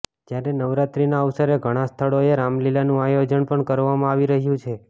જ્યારે નવરાત્રીના અવસરે ઘણા સ્થળોએ રામલીલાનું આયોજન પણ કરવામાં આવી રહ્યું છે